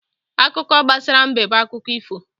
Akụkọ gbasara mbe bụ akụkọ ifo.